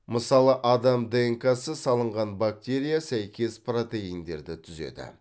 мысалы адам днк сы салынған бактерия сәйкес протеиндерді түзеді